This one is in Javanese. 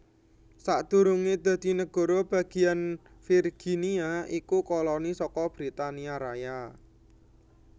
Sadurungé dadi nagara bagéyan Virginia iku koloni saka Britania Raya